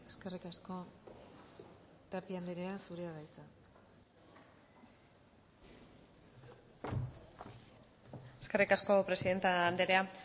eskerrik asko tapia andrea zurea da hitza eskerrik asko presidente andrea